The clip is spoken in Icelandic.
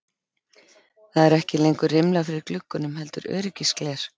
Það eru ekki lengur rimlar fyrir gluggunum heldur öryggisgler.